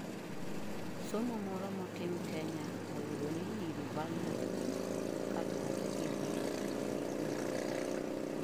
somo moro motim Kenya oyudo ni nyiri vulnerable, kaluore gi dhier gi kuma gidak